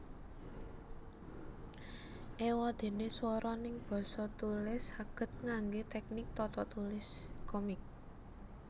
Ewadene swara neng basa tulis saged ngangge teknik tatatulis komik